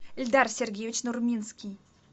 эльдар сергеевич нурминский